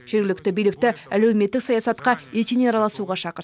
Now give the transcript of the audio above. жергілікті билікті әлеуметтік саясатқа етене араласуға шақырды